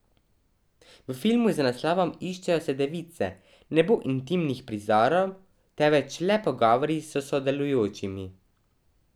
V filmu z naslovom Iščejo se device ne bo intimnih prizorov, temveč le pogovori s sodelujočimi.